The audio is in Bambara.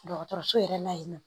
Dɔgɔtɔrɔso yɛrɛ la yen nɔ